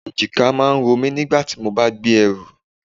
Èjìká máa ń romi nígbà tí mo bá gbé ẹrù.